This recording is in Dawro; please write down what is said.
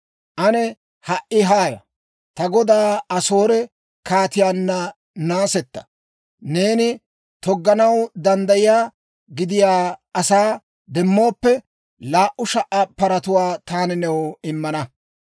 Ane ha"i haaya! Ta godaa Asoore kaatiyaana naasetta. Neeni togganaw danddayiyaa, gidiyaa asaa demmooppe, laa"u sha"a paratuwaa taani new immana.